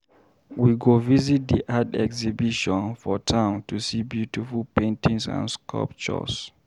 We go visit the art exhibition for town to see beautiful paintings and sculptures.